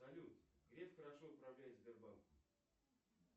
салют греф хорошо управляет сбербанком